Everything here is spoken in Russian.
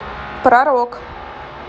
про рок